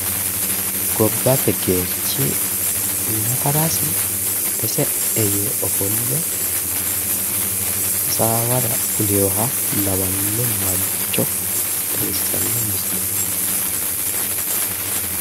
Gobbate geerchi nafarasi dese'e yee ofolle hasaawara fulewooha lawanno mancho xawissanno misileeti.